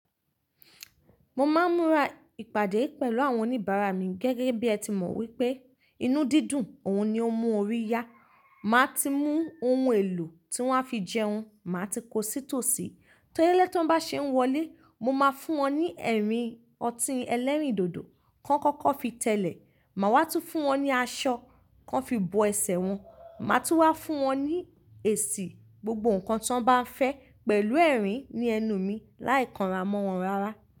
Mo máa ń múra ìpàdé pẹ̀lú àwọn oníbàárà mi gẹ́gẹ́ bí ẹ ti mọ wípé inú dídùn òun ni ó n mú orí yá. Màá ti mú oun èlò tí wọ́n á fi jẹun, màá ti kó sí tòòsì. Telé lé tó bá ṣe n wọlé, mo máa fún wọn ní ẹ̀rín ọtí ẹlẹ́rìndòdò kan kọ́kọ́ fi tẹ́lẹ̀. Màá wá tún fún wọn ní aṣọ kan fi bo ẹsẹ̀e wọn. Màá tún wá fún wọn ní èsì gbogbo nǹkan tí wọ́n bá fẹ́ pẹ̀lú ẹ̀rín ní ẹnu mi láì kanra mọ́ wọn rárá.